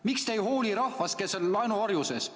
Miks te ei hooli rahvast, kes on laenuorjuses?